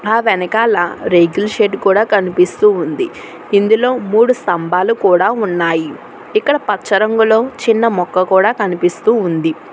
ఆ వెనకాల రేకుల షెడ్డు కూడా కనిపిస్తూ ఉంది ఇందులో మూడు స్తంబాలు కూడ ఉన్నాయి ఇక్కడ పచ్చ రంగులో చిన్న మొక్క కూడా కనిపిస్తూ ఉంది.